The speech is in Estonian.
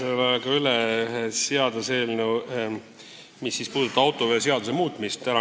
Ma annan üle seaduseelnõu, mis puudutab autoveoseaduse muutmist.